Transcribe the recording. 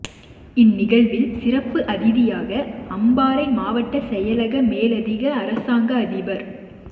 இன் நிகழ்வில் சிறப்பு அதிதியாக அம்பாறை மாவட்ட செயலக மேலதிக அரசாங்க அதிபர்